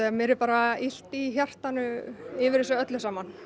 mér er bara illt í hjartanu yfir þessu öllu saman